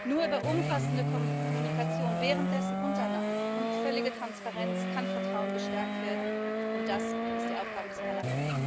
Nur über umfassende Kommunikation währenddessen und danach und völlige Transparenz kann Vertrauen gestärkt werden, und das ist die Aufgabe des Parlaments.